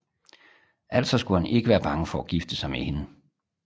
Altså skulle han ikke være bange for at gifte sig med hende